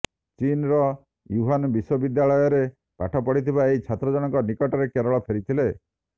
ଚୀନ୍ର ୟୁହାନ ବିଶ୍ୱାବିଦ୍ରାଳୟରେ ପାଠ ପଢ଼ିଥିବା ଏହି ଛାତ୍ର ଜଣକ ନିକଟରେ କେରଳ ଫେରିଥିଲେ